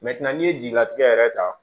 n'i ye jelilatigɛ yɛrɛ ta